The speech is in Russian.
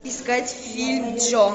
искать фильм джо